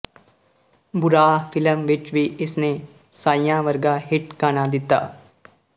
ਬੁਰਾਹ film ਵਿੱਚ ਵੀ ਇਸਨੇ ਸਾਈਆਂ ਵਰਗਾ ਹਿਟ ਗਾਣਾ ਦਿੱਤਾ